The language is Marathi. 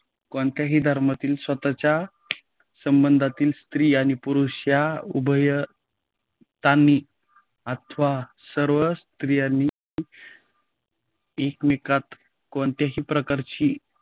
कोणत्याही धर्मातील स्वतःच्या संबंधात, स्त्री आणि पुरुष या उभय तांनी अथवा सर्व यांनी एकमेकात कोणत्याही प्रकारची